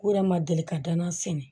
U yɛrɛ ma deli ka danna sɛnɛ